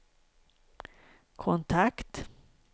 kontakt